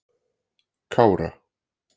Kára